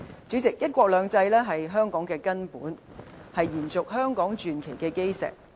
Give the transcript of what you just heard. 主席，"一國兩制"是香港的根本，是延續香港傳奇的基石。